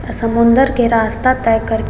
समुन्दर के रास्ता तय कर --